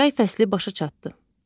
Yay fəsli başa çatdı.